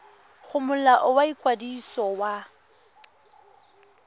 go molao wa ikwadiso wa